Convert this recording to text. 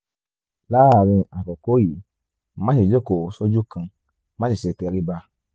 láàárín àkókò yìí máṣe jókòó sójú kan má sì ṣe tẹrí ba